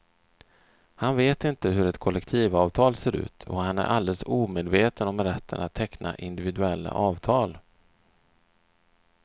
Han vet inte hur ett kollektivavtal ser ut och han är alldeles omedveten om rätten att teckna individuella avtal.